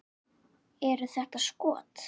Eru þetta skot.